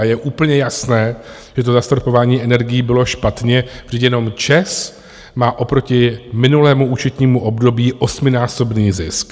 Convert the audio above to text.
A je úplně jasné, že to zastropování energií bylo špatně, vždyť jenom ČEZ má oproti minulému účetnímu období osminásobný zisk.